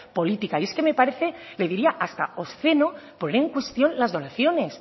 política y es que me parece le diría hasta obsceno poner en cuestión las donaciones